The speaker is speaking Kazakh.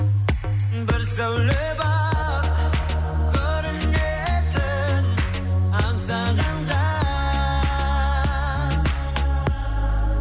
бір сәуле бар көрінетін аңсағанға